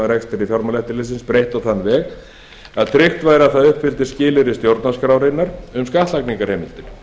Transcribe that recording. rekstri fjármálaeftirlitsins breytt á þann veg að tryggt væri að það uppfyllti skilyrði stjórnarskrárinnar um skattlagningarheimildir